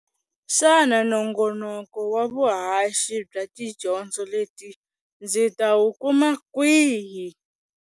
Xana nongonoko wa vuhaxi bya tidyondzo leti ndzi ta wu kuma kwihi?